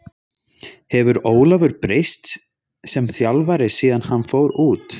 Hefur Ólafur breyst sem þjálfari síðan hann fór út?